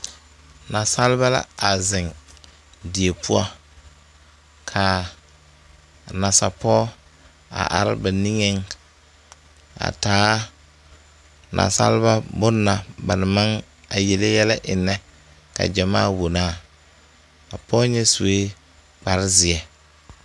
Naasaliba la a zeŋ die poɔ kaa a nasapɔɔ a are ba niŋeŋ a taa naasaleba bon na ba na maŋ eŋ a yele yɛlɛ eŋnɛka gyamaa wonaa a pɔɔ nyɛ suee kparezeɛ.